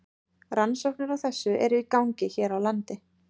Rannsóknir á þessu eru í gangi hér á landi.